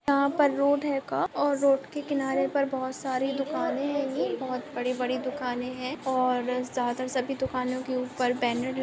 यहा पर रोड है और रोड के किनारे पर बहुत सारे दुकाने हैं बहुत बड़े-बड़े दुकाने हैं और ज्यादा तर सभी दुकानो के ऊपर बैनर--